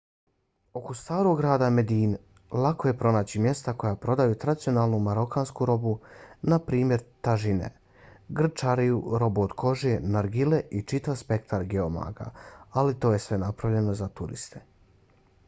oko starog grada medine lako je pronaći mjesta koja prodaju tradicionalnu marokansku robu na primjer tažine grnčariju robu od kože nargile i čitav spektra geomaga ali to je sve napravljeno za turiste